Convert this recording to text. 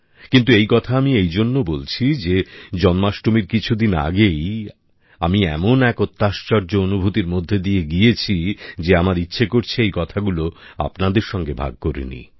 কিন্তু এই কথা আমি এই জন্য বলছি যে জন্মাষ্টমীর কিছুদিন আগেই আমি এমন এক অত্যাশ্চর্য অনুভূতির মধ্যে দিয়ে গিয়েছি যে আমার ইচ্ছে করছে এই কথাগুলো আপনাদের সঙ্গে ভাগ করে নিই